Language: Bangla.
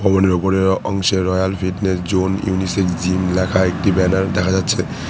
ওপরে অংশের royal fitness zone unisex gym লেখা একটি ব্যানার দেখা যাচ্ছে।